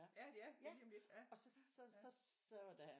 Ja de er der lige om lidt ja